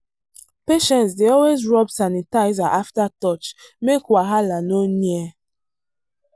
patients dey always rub sanitizer after touch make wahala no near.